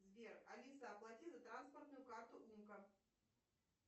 сбер алиса оплати за транспортную карту умка